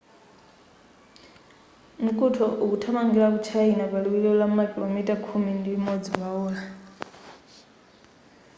mkuntho ukuthamangira ku china pa liwiro la makilomita khumi ndi imodzi pa ola